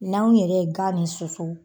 N'aw yɛrɛ ye gan min susu